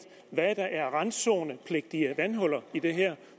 hvad der er randzonepligtige vandhuller i det her